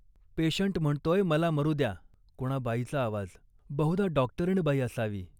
Patient म्हणतोय मला मरू द्या. कोणा बाईचा आवाज, बहुधा डॉक्टरीणबाई असावी